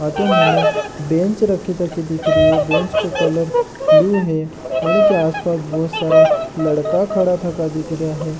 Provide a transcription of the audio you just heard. अठे मने बेंच रखे तके दिख री है बेंच को कलर ब्लू है के आसपास बोहोत सारा लड़का खडा थका दिख रेया है।